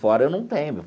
Fora eu não tenho.